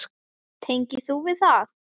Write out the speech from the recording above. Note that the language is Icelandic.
Tengir þú við það?